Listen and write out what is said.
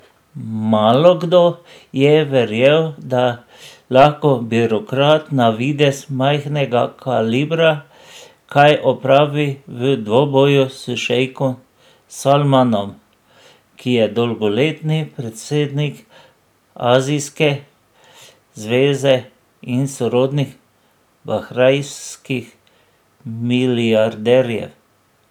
Malokdo je verjel, da lahko birokrat na videz majhnega kalibra kaj opravi v dvoboju s šejkom Salmanom, ki je dolgoletni predsednik Azijske zveze in sorodnik bahrajnskih milijarderjev.